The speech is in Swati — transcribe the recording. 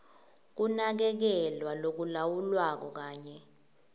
kunakekelwa lokulawulwako kanye